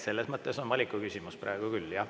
Selles mõttes on valiku küsimus praegu küll, jah.